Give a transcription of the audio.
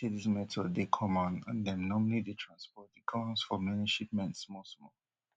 sabi say dis method dey common and dem normally dey transport di guns for many shipments smallsmall